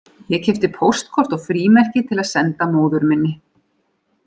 Ég keypti póstkort og frímerki til að senda móður minni